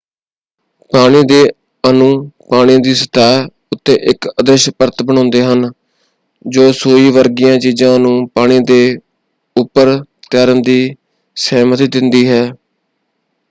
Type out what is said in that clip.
ਪਾਣੀ ਦੇ ਅਣੂ ਪਾਣੀ ਦੀ ਸਤਹਿ ਉੱਤੇ ਇਕ ਅਦ੍ਰਿਸ਼ ਪਰਤ ਬਣਾਉਂਦੇ ਹਨ ਜੋ ਸੂਈ ਵਰਗੀਆਂ ਚੀਜ਼ਾਂ ਨੂੰ ਪਾਣੀ ਦੇ ਉਪਰ ਤੈਰਨ ਦੀ ਸਹਿਮਤੀ ਦਿੰਦੀ ਹੈ।